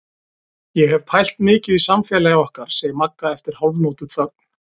Ég hef pælt mikið í samfélagi okkar, segir Magga eftir hálfnótuþögn.